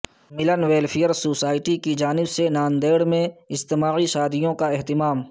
ملن welfare society کی جانب سے ناندیڑ میں اجتماعی شادیوں کا اہتمام